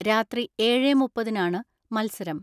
രാത്രി ഏഴേ മുപ്പതിന് ആണ് മത്സരം.